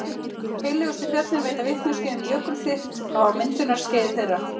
Heillegustu fjöllin veita vitneskju um jökulþykkt á myndunarskeiði þeirra.